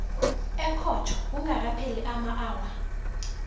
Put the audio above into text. ekhotho kungakapheli amaawa